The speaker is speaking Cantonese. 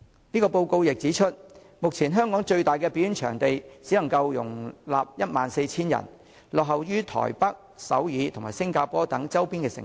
該報告亦指出，目前香港最大的表演場館只能容納 14,000 人，落後於台北、首爾及新加坡等周邊城市。